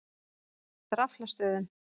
Draflastöðum